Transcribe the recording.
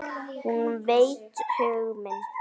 Hún veit hug minn.